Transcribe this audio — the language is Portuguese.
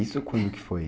Isso quando que foi?